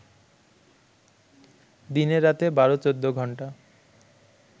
দিনে-রাতে ১২-১৪ ঘন্টা